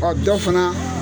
Ɔ dɔ fana.